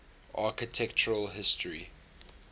architectural history